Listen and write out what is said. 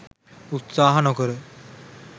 උත්සාහ නොකර.